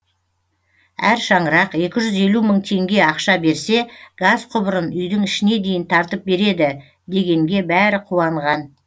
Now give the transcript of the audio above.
әр шаңырақ екі жүз елу мың теңге ақша берсе газ құбырын үйдің ішіне дейін тартып береді дегенге бәрі қуанған